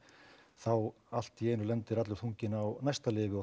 þá allt í einu lendir allur þunginn á næsta lyfi og